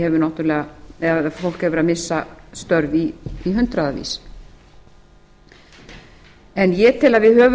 hefur verið að missa störf í hundraðatali en ég tel að við